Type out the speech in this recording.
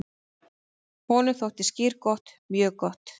"""Honum þótti skyr gott, mjög gott."""